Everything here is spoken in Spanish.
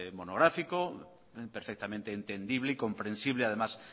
monográfico perfectamente entendible y comprensible además